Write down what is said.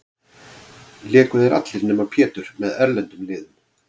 Léku þeir allir, nema Pétur, með erlendum liðum.